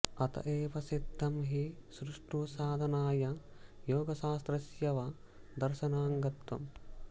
अत एव सिद्धं हि सुष्ठु साधनाया योगशास्त्रस्य वा दर्शनाङ्गत्वम्